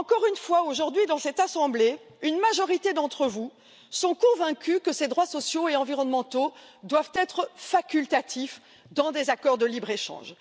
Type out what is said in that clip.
Encore une fois, aujourd'hui, dans cette assemblée, une majorité d'entre vous sont convaincus que ces droits sociaux et environnementaux doivent être facultatifs dans les accords de libre échange.